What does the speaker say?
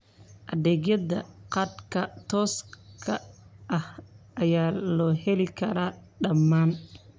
Adeegyada khadka tooska ah ayaa loo heli karaa dhammaan.